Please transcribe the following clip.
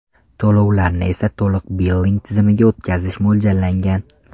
To‘lovlarni esa to‘liq billing tizimiga o‘tkazish mo‘ljallangan.